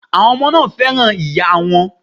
Àwọn ọmọ náà fẹ́ràn ìyáa wọn.